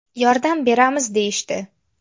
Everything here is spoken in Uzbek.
Yordam beramiz deyishdi.